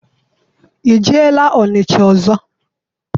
I jeela Ọnịcha ọzọ?